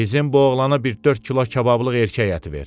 Bizim bu oğlana bir dörd kilo kabablıq erkək əti ver.